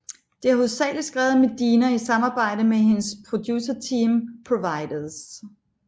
Det er hovedsageligt skrevet af Medina i samarbejde med hendes producerteam Providers